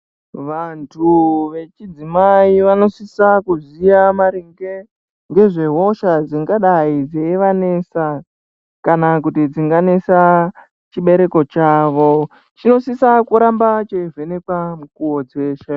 Vantu vechidzimai vanosise kuziya maringe ngezvehosha dzingadai dzeivanesa kana kuti dzinganesa chibereko chavo. Chinosisa kuramba cheivhenekwa mukuwo dzeshe.